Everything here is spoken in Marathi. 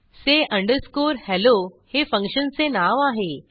say अंडरस्कोर helloहे फंक्शनचे नाव आहे